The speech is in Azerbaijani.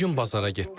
Bu gün bazara getdim.